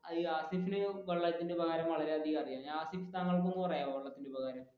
ഹാസിഫിൻ വെള്ളത്തിന്റെ ഉപകാരം വളരെയധികം അറിയാം ഹാസിഫ് താങ്കൾക്ക് ഒന്ന് പറയാമോ വെള്ളത്തിന്റെ ഉപകാരം?